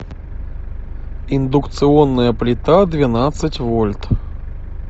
индукционная плита двенадцать вольт